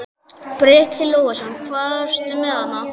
Breki Logason: Hvað ertu með þarna?